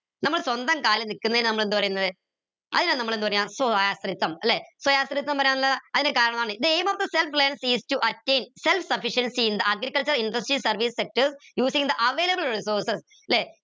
നമ്മൾ സ്വന്തം കാലിൽ നിക്ക് ന്നെൻ നമ്മൾ എന്ത് പരീന്നത് അതിനാ നമ്മൾ എന്ത് പറയ ല്ലെ to attain self sufficiency in the agricultural industry service sectors using the available resources ല്ലെ